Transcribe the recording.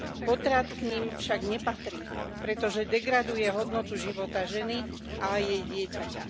Potrat k nim však nepatrí, pretože degraduje hodnotu života ženy a aj jej dieťaťa.